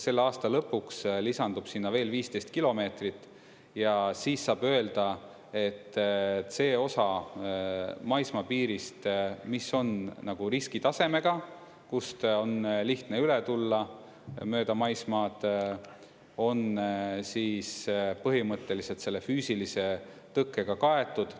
Selle aasta lõpuks lisandub sinna veel 15 kilomeetrit ja siis saab öelda, et see osa maismaapiirist, mis on nagu riskitasemega, kust on lihtne üle tulla mööda maismaad, on siis põhimõtteliselt selle füüsilise tõkkega kaetud.